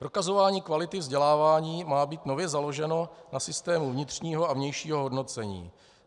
Prokazování kvality vzdělávání má být nově založeno na systému vnitřního a vnějšího hodnocení.